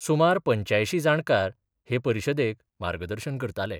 सुमार पंच्यायशीं जाणकार हे परिशदेक मार्गदर्शन करताले.